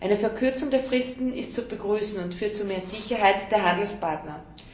Eine Verkürzung der Fristen ist zu begrüßen und führt zu mehr Sicherheit der Handelspartner.